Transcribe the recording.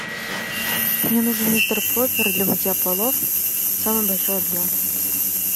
мне нужен мистер проппер для мытья полов самый большой объем